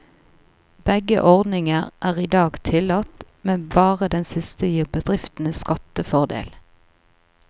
Begge ordninger er i dag tillatt, men bare den siste gir bedriftene skattefordel.